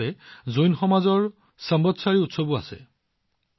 ইফালে জৈন সমাজৰ সম্ৱতসাৰী উৎসৱো অনুষ্ঠিত হব